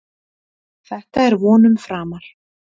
Þetta er vonum framar